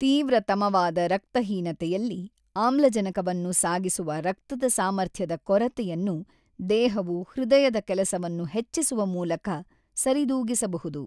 ತೀವ್ರತಮವಾದ ರಕ್ತಹೀನತೆಯಲ್ಲಿ, ಆಮ್ಲಜನಕವನ್ನು ಸಾಗಿಸುವ ರಕ್ತದ ಸಾಮರ್ಥ್ಯದ ಕೊರತೆಯನ್ನು ದೇಹವು ಹೃದಯದ ಕೆಲಸವನ್ನು ಹೆಚ್ಚಿಸುವ ಮೂಲಕ ಸರಿದೂಗಿಸಬಹುದು.